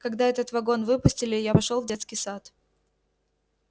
когда этот вагон выпустили я пошёл в детский сад